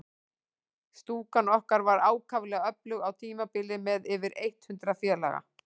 Stúkan okkar var ákaflega öflug á tímabili, með yfir eitt hundrað félaga.